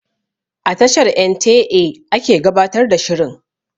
A tashar en tee eh ake gabatar da shirin